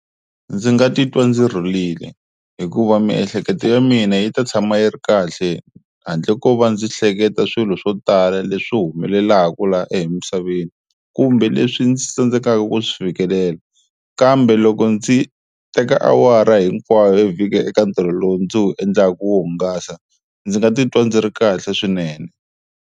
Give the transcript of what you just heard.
Ndzi nga titwa ndzi rhulile hikuva miehleketo ya mina yi ta tshama yi ri kahle handle ko va ndzi hleketa swilo swo tala leswi humelelaku laha emisaveni kumbe leswi ndzi tsandzekaka ku swi fikelela, kambe loko ndzi teka awara hinkwayo yo vhika eka ntirho lowu ndzi wu endlaka ku wo hungasa ndzi nga titwa ndzi ri kahle swinene.